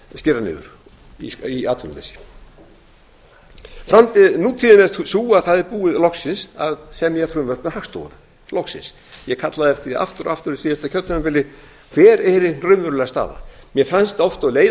skera niður í atvinnuleysi nútíðin er sú að það er búið loksins að semja frumvarp um hagstofuna loksins ég kallaði eftir því aftur og aftur á síðasta kjörtímabili hver væri hin raunverulega staða mér fannst oft og leið